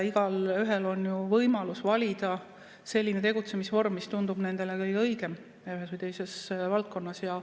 Igaühel on ju võimalus valida selline tegutsemisvorm, mis tundub nendele kõige õigem ühes või teises valdkonnas.